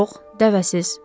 Yox, dəvəsiz.